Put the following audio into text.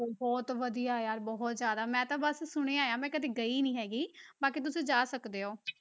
ਬਹੁਤ ਵਧੀਆ ਯਾਰ ਬਹੁਤ ਜ਼ਿਆਦਾ, ਮੈਂ ਤਾਂ ਬਸ ਸੁਣਿਆ ਹੈ, ਮੈਂ ਕਦੇ ਗਈ ਨਹੀਂ ਹੈਗੀ ਬਾਕੀ ਤੁਸੀਂ ਜਾ ਸਕਦੇ ਹੋ।